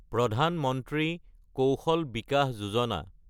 প্ৰধান মন্ত্ৰী কৌশল বিকাচ যোজনা